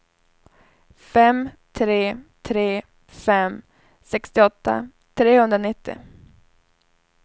fem tre tre fem sextioåtta trehundranittio